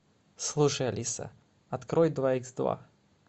слушай алиса открой два икс два